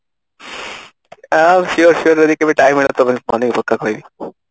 ଆ sure sure ଯଦି କେବେ time ହେଲା ତ ବନେଇକି ପକ୍କା ଖୁଆଇବି